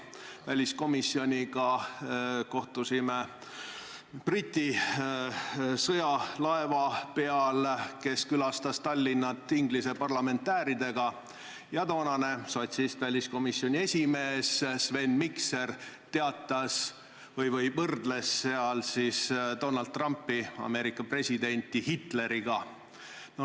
Me väliskomisjoniga kohtusime Tallinna külastanud Briti sõjalaeval Inglise parlamendi liikmetega ja toonane sotsist väliskomisjoni esimees Sven Mikser võrdles seal siis Donald Trumpi, Ameerika presidenti, Hitleriga.